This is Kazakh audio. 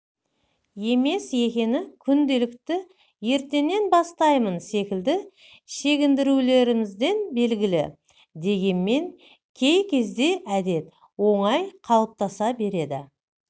емес екені күнделікті ертеңнен бастаймын секілді шегіндірулерімізден белгілі дегенмен кей кезде әдет оңай қалытаса береді